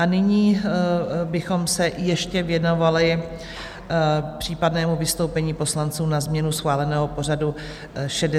A nyní bychom se ještě věnovali případnému vystoupení poslanců na změnu schváleného pořadu 65. schůze.